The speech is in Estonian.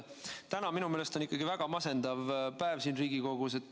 Täna on minu meelest ikkagi väga masendav päev siin Riigikogus.